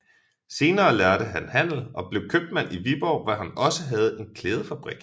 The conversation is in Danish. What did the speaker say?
Senere lærte han handel og blev købmand i Viborg hvor han også havde en klædefabrik